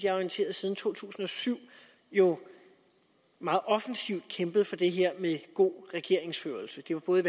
er orienteret siden to tusind og syv jo meget offensivt har kæmpet for det her med god regeringsførelse det var både